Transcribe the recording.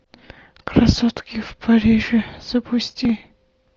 красотки в париже запусти